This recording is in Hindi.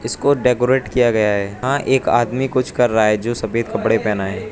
को डेकोरेट किया गया है यहां एक आदमी कुछ कर रहा है जो सफेद कपड़े पहना है।